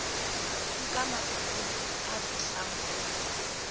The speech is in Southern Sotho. nka matsatsi a fihlang ho